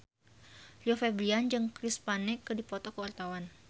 Rio Febrian jeung Chris Pane keur dipoto ku wartawan